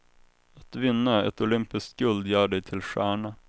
Att vinna ett olympiskt guld gör dig till stjärna.